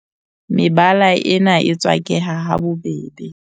Mebala ena e tswakeha ha bobebe.